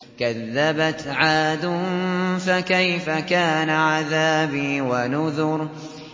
كَذَّبَتْ عَادٌ فَكَيْفَ كَانَ عَذَابِي وَنُذُرِ